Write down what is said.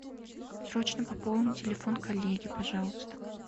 срочно пополнить телефон коллеги пожалуйста